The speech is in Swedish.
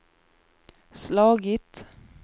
slagit